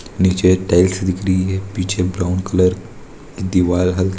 नीचे टाइलस दिख रही है पीछे ब्राउन कलर की दीवार हल्की--